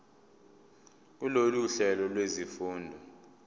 kulolu hlelo lwezifundo